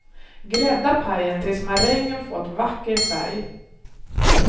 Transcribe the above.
Grädda pajen tills marängen fått vacker färg.